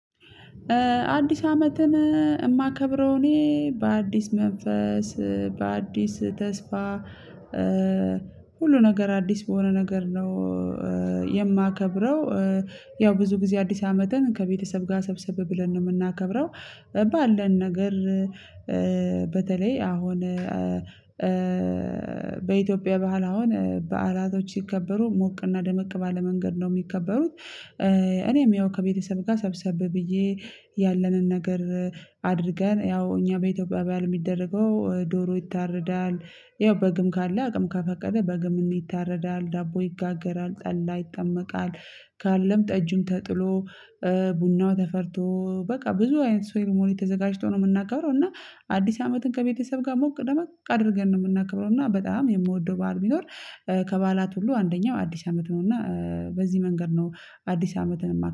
አዲስ አመትን የማከብረው እኔ በአዲስ መንፈስ በአዲስ ተስፋ ሁሉ ነገር አዲስ በሆነ ነገር ነው የማከብረው። ያው ብዙ ጊዜ አዲስ አመትን ከቤተሰብ ጋር ሰብሰብ ብለን ነው የምናከብረው። ባለን ነገር። አሁን በኢትዮጵያ ባህል አሁን በዓላቶች ሲከበሩ ሞቅና ደመቅ ባለ መንገድ ነው የሚከበሩት። እኔም ያው ከቤተሰብ ጋር ሰብሰብ ብዬ ያለንን ነገር። አድርገን ያው እኛ በኢትዮጵያ በዓል የሚደረገው ዶሮ ይታረዳል ያው በግም ካለ አቅም ካፈቀደ በግም ይታረዳል ዳቦ ይጋገራል ጠላ ይጠመቃል። ካለም ጠጅም ተጥሎ ቡናው ተፈልቶ በቃ ብዙ አይነት ሰው ሴረሞኒ ተዘጋጅቶ ነው የምናከብረው። እና አዲስ አመትን ከቤተሰብ ጋር ሞቅ ደምቅ አድርገን ነው የምናከብረው። እና በጣም የምወደው ባዓል ቢኖር ከባላት ሁሉ አንደኛው አዲስ አመት ነው። እና በዚህ መንገድ ነው አዲስ አመትን